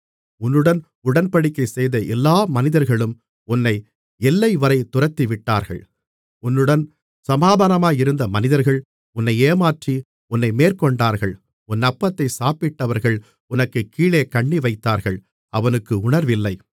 உன்னுடன் உடன்படிக்கை செய்த எல்லா மனிதர்களும் உன்னை எல்லைவரை துரத்திவிட்டார்கள் உன்னுடன் சமாதானமாயிருந்த மனிதர்கள் உன்னை ஏமாற்றி உன்னை மேற்கொண்டார்கள் உன் அப்பத்தைச் சாப்பிட்டவர்கள் உனக்குக் கீழே கண்ணிவைத்தார்கள் அவனுக்கு உணர்வில்லை